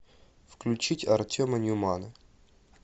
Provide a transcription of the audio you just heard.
включить артема ньюмана